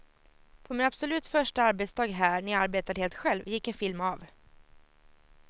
På min absolut första arbetsdag här, när jag arbetade helt själv, gick en film av.